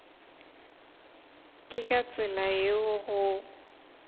ke ka tsela yeo go